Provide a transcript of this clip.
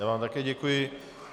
Já vám také děkuji.